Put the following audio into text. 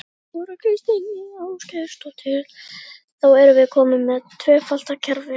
Þóra Kristín Ásgeirsdóttir: Þá erum við komin með tvöfalt kerfi?